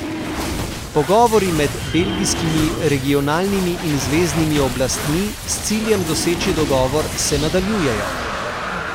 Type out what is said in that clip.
Pogovori med belgijskimi regionalnimi in zveznimi oblastmi s ciljem doseči dogovor se nadaljujejo.